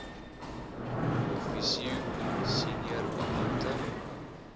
officio senior beampte